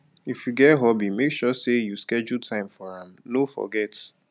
if you get hobby make sure say you schedule time for am no forget